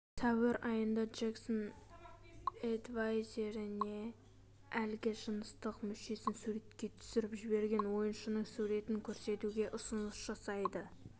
сәуір айында джексон эдвайзеріне әлгі жыныстық мүшесін суретке түсіріп жіберген ойыншының суретін көрсетуге ұсыныс жасайды